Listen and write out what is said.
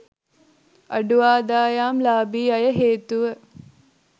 අඩු ආදායම්ලාභී අය හේතුව